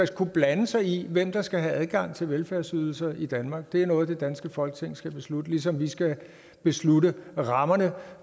skal blande sig i hvem der skal have adgang til velfærdsydelser i danmark at det er noget det danske folketing skal beslutte ligesom vi skal beslutte rammerne